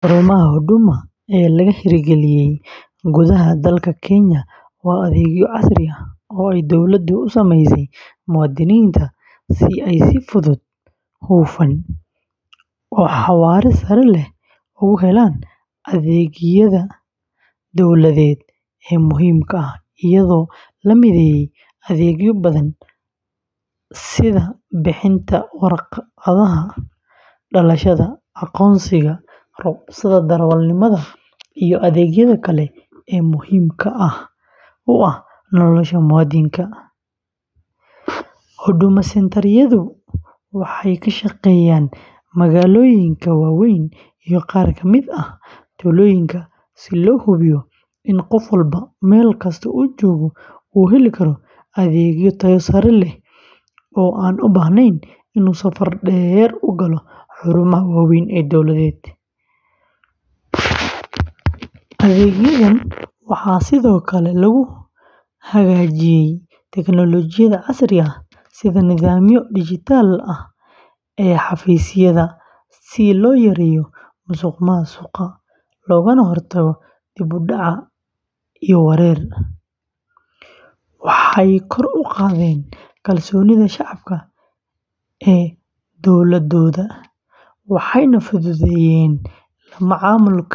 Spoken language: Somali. Xarumaha Huduma ee laga hirgeliyey gudaha dalka Kenya waa adeegyo casri ah oo ay dowladdu u sameysay muwaadiniinta si ay si fudud, hufan, iyo xawaare sare leh ugu helaan adeegyada dowladeed ee muhiimka ah, iyadoo la mideeyey adeegyo badan sida bixinta warqadaha dhalashada, aqoonsiga, rukhsadaha darawalnimada, iyo adeegyada kale ee muhiimka u ah nolosha muwaadinka. Huduma Centre-yadu waxay ka shaqeeyaan magaalooyinka waaweyn iyo qaar ka mid ah tuulooyinka si loo hubiyo in qof walba, meel kasta uu joogo, uu heli karo adeegyo tayo sare leh oo aan u baahnayn inuu safar dheer u galo xarumaha waaweyn ee dowladeed. Adeegyadan waxaa sidoo kale lagu hagaajiyey tignoolajiyada casriga ah, sida nidaamyada dhijitaalka ah ee xafiisyada si loo yareeyo musuqmaasuqa, loogana hortago dib-u-dhac iyo wareer, waxay kor u qaadeen kalsoonida shacabka ee dowladdooda, waxayna fududeeyeen la macaamilka.